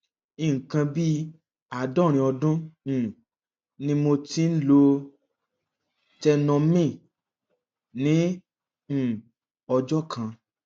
nǹkan bí àádọrin ọdún um ni mo ti ń lo tenormin ní um ọjọ kan